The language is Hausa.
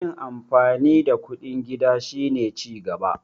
yin amfani da kuɗin gida shi ne cigaba